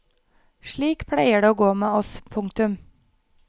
Slik pleier det å gå med oss. punktum